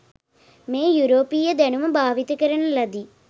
මේ යුරෝපීය දැනුම භාවිත කරන ලදි.